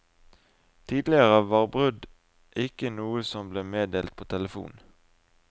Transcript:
Tidligere var brudd ikke noe som ble meddelt på telefon.